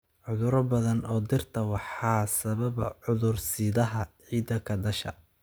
Cudurro badan oo dhirta waxaa sababa cudur-sidaha ciidda ka dhasha.